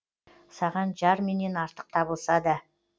саған жар менен артық табылса да